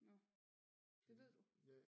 Nåh det ved du?